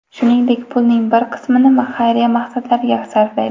Shuningdek, pulning bir qismini xayriya maqsadlariga sarflaydi.